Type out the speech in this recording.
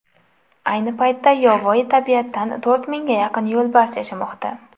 Ayni paytda yovvoyi tabiatda to‘rt mingga yaqin yo‘lbars yashamoqda.